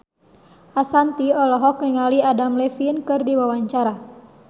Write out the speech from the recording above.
Ashanti olohok ningali Adam Levine keur diwawancara